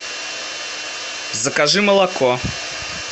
закажи молоко